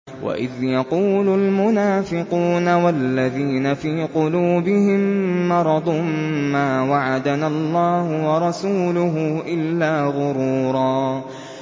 وَإِذْ يَقُولُ الْمُنَافِقُونَ وَالَّذِينَ فِي قُلُوبِهِم مَّرَضٌ مَّا وَعَدَنَا اللَّهُ وَرَسُولُهُ إِلَّا غُرُورًا